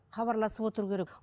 хабарласып отыру керек